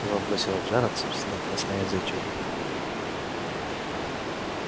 его бросило в жар от собственного косноязычия